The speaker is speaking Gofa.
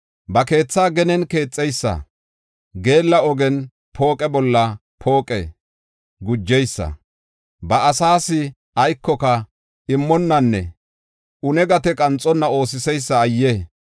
Ba keetha genen keexeysa, geella ogen pooqe bolla pooqe gujeysa, ba asaas aykoka immonnanne gate qanxonna oosiseysa ayye!